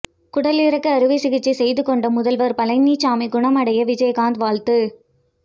குடலிறக்க அறுவை சிகிச்சை செய்துகொண்ட முதல்வர் பழனிசாமி குணமடைய விஜயகாந்த் வாழ்த்து